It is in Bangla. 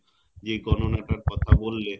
যে গণনা টার কথা বললে